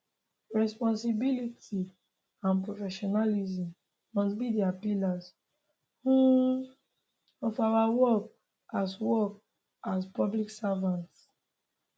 responsibility and professionalism must be di pillars um of our work as work as public servants